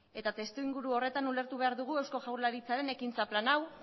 eta testuinguru horretan ulertu behar dugu eusko jaurlaritzaren ekintza plan hau